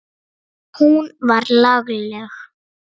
Hún var lagleg.